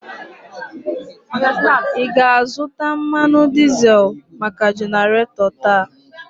Ị ga-azụta mmanụ dizel maka jenaratọ taa?